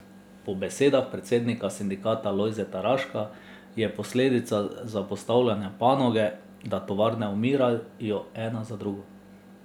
Po besedah predsednika sindikata Lojzeta Raška je posledica zapostavljanja panoge, da tovarne umirajo ena za drugo.